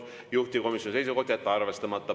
Juhtivkomisjoni seisukoht on jätta arvestamata.